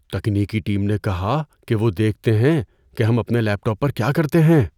تکنیکی ٹیم نے کہا کہ وہ دیکھتے ہیں کہ ہم اپنے لیپ ٹاپ پر کیا کرتے ہیں۔